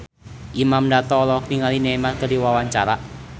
Imam Darto olohok ningali Neymar keur diwawancara